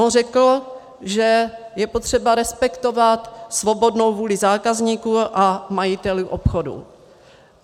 On řekl, že je potřeba respektovat svobodnou vůlí zákazníků a majitelů obchodu.